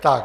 Tak.